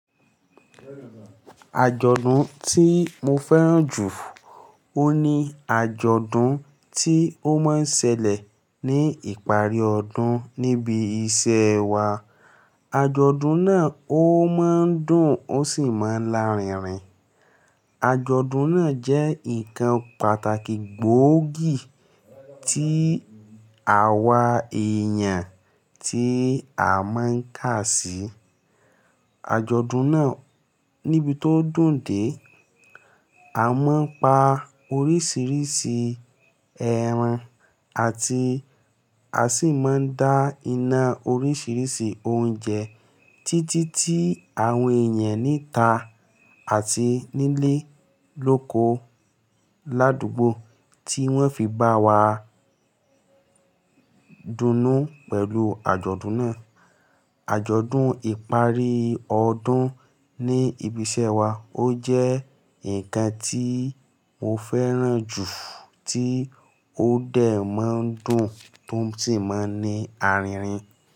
Àjọ̀dún tí mo fẹ́ràn jù ohun ní àjọ̀dún tí ó máa ń ṣẹlẹ̀ ní ìparí ọdún níbi iṣẹ́ wa. Àjọ̀dún náà ó máa ń dùn ó sì máa ń lárinrin. Àjọ̀dún náà jẹ́ nǹkan pàtàkì gbóògì tí àwa èèyàn tí a máa ń kà sí. Àjọ̀dún náà níbi tó dùn dé, a máa ń pa oríṣiríṣi ẹran àti a sì máa ń dá iná oríṣiríṣi oúnjẹ títí tí àwọn èèyàn níta àti nílé lóko ládùúgbò tí wọ́n fi bá wa dunnú pẹ̀lú àjọ̀dún náà. Àjọ̀dún ìparí ọdún ní ibi iṣẹ́ wa ó jẹ́ nǹkan tí mo fẹ́ràn jù tí ó dẹ̀ máa ń dùn tó sì máa ń ní arinrin.